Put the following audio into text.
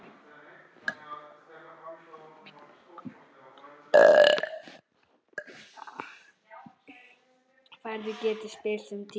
Færð getur spillst um tíma.